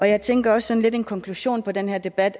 jeg tænker også at en konklusion på den her debat